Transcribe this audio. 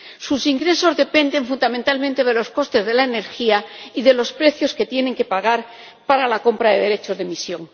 Sus ingresos dependen fundamentalmente de los costes de la energía y de los precios que tienen que pagar para la compra de derechos de emisión.